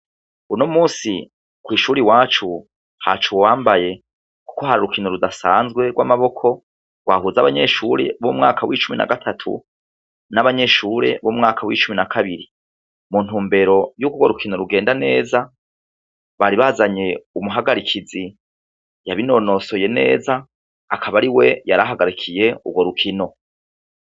Unomunsi kw'ishur' iwacu hac' uwambaye, kuko har' urukino rudasanzwe rw' amaboko gwahuz' abanyeshure bo mu mwaka w'icumi n' agatatu n' abanyeshure bo mu mwaka w'icumi n' akabiri, mu ntumbero yuk' urukino rugenda neza, bari bazany' umuhagarikizi yabinonosoye nez' akab'ariwe yarahagarikiy' urwo rukino.